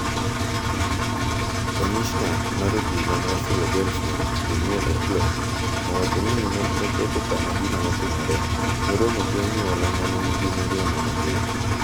Kamishna mar obila ma Philadelphia, Danielle Outlaw, owacho ni nochopo kama gino notimore, noromo gi anyuola mane nigi mirima mager.